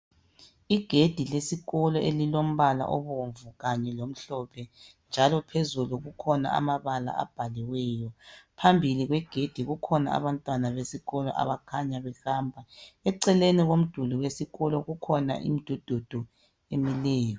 Igedi lesikolo elilombala obomvu kanye lomhlophe, njalo phezulukukhona amabala abhaliweyo. Phambi kwegedi kukhona abantwana besikolo abakhanya behamba. Eceleni komduli wesikolo kukhona imidudu emileyo.